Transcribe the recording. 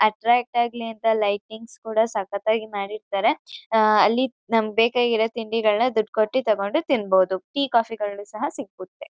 Attract ಆಗ್ಲಿ ಅಂತ lightings ಕೂಡ ಸಕತ್ತಾಗಿ ಮಾಡಿರ್ತಾರೆ ಅಲ್ಲಿ ನಮ್ಗೆ ಬೇಕಾಗಿರೊ ತಿಂಡಿಗಳ್ನ ದುಡ್ಡು ಕೊಟ್ಟಿ ತಗೊಂಡ್ ತಿನ್ಬೋದು ಟೀ ಕಾಫಿಗಳು ಸಹ ಸಿಕ್ಕುತ್ತೆ.